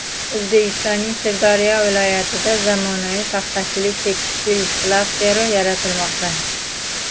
O‘zbekistonning Sirdaryo viloyatida zamonaviy paxtachilik-tekstil klasteri yaratilmoqda.